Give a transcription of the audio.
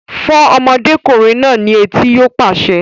Fọ́ ọmọdékùnrin náà ní etí! Yóò pàṣẹ